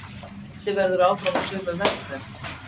Haldið verði áfram á sömu vegferð